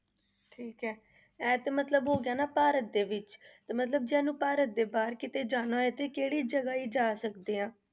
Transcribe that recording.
ਠੀਕ ਹੈ ਇਹ ਤਾਂ ਮਤਲਬ ਹੋ ਗਿਆ ਨਾ ਭਾਰਤ ਦੇ ਵਿੱਚ ਤੇ ਮਤਲਬ ਜੇ ਸਾਨੂੰ ਭਾਰਤ ਦੇ ਬਾਹਰ ਕਿਤੇ ਜਾਣਾ ਹੋਏ, ਤੇ ਕਿਹੜੀ ਜਗ੍ਹਾ ਅਸੀਂ ਜਾ ਸਕਦੇ ਹਾਂ?